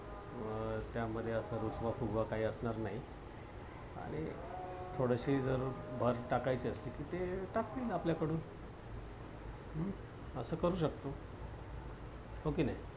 अं त्यामध्ये असा रुसवा फुगव काही असणार नाही आणि थोडीशी भर जरी टाकायची असेल तर ते टाकतील मग आपल्याकडून हम्म अस करू शकतो. हो कि नाही.